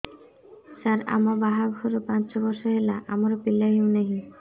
ସାର ଆମ ବାହା ଘର ପାଞ୍ଚ ବର୍ଷ ହେଲା ଆମର ପିଲା ହେଉନାହିଁ